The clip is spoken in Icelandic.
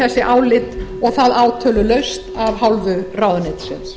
þessi álit og það átölulaust af hálfu ráðuneytisins